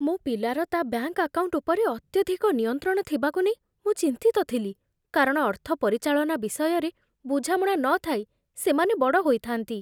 ମୋ ପିଲାର ତା' ବ୍ୟାଙ୍କ ଆକାଉଣ୍ଟ ଉପରେ ଅତ୍ୟଧିକ ନିୟନ୍ତ୍ରଣ ଥିବାକୁ ନେଇ ମୁଁ ଚିନ୍ତିତ ଥିଲି, କାରଣ ଅର୍ଥ ପରିଚାଳନା ବିଷୟରେ ବୁଝାମଣା ନଥାଇ ସେମାନେ ବଡ଼ ହୋଇଥାନ୍ତି।